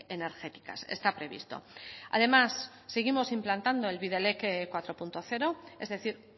energéticas está previsto además seguimos implantando el bidelek cuatro punto cero es decir